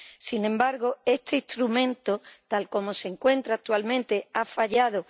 Sin embargo, este instrumento, tal como se encuentra actualmente, ha fallado.